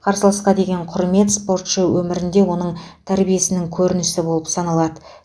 қарсыласқа деген құрмет спортшы өмірінде оның тәрбиесінің көрінісі болып саналады